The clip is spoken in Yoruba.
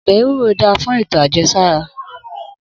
Obe ewuro dá fún eto ajẹsara